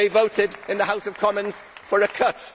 They voted in the House of Commons for a cut.